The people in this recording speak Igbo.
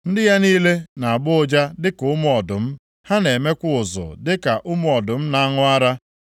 Ndị ya niile na-agbọ ụja dịka ụmụ ọdụm, ha na-emekwa ụzụ dịka ụmụ ọdụm na-aṅụ ara.